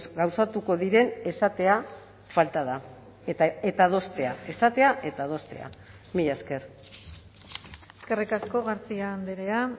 gauzatuko diren esatea falta da eta adostea esatea eta adostea mila esker eskerrik asko garcia andrea